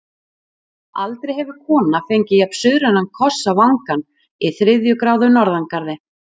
Aldrei hefur kona fengið jafn-suðrænan koss á vangann í þriðju gráðu norðangarði.